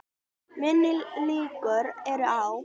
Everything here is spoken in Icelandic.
Minni líkur eru á